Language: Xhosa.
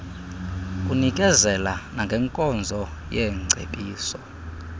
kunikezela nangenkonzo yeengcebiso